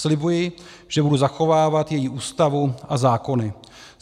Slibuji, že budu zachovávat její Ústavu a zákony.